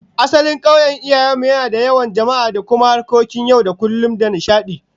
Asalin kauyen iyayen mu yana da yawan jama'a da kuma harkokin yau da kullum da nishadi